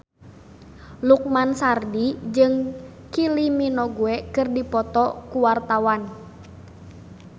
Lukman Sardi jeung Kylie Minogue keur dipoto ku wartawan